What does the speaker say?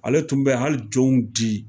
Ale tun bɛ hali jɔnw di